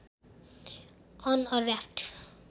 on a raft